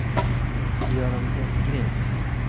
Göran Hellgren